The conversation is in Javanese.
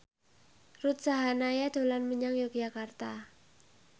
Ruth Sahanaya dolan menyang Yogyakarta